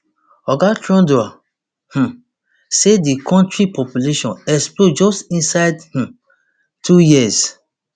oga trudeau um say di kontri population explode just inside um two years